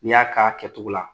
N y'a k'a kɛcogo la